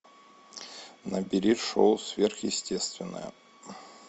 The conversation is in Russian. набери шоу сверхъестественное